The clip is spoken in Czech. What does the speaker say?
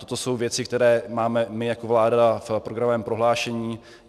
Toto jsou věci, které máme my jako vláda v programovém prohlášení.